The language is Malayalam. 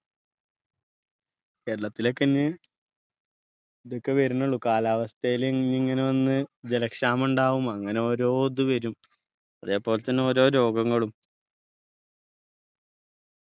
കേരളത്തിലൊക്കെ ഇന്ന് ഇതൊക്കെ വരുന്നെ ഉള്ളു കാലാവസ്ഥയില് ഇനി ഇങ്ങനെ വന്ന് ജലക്ഷാമം ഉണ്ടാവും അങ്ങനെ ഓരോ ഇത് വരും അതേപോലെതന്നെ ഓരോ രോഗങ്ങളും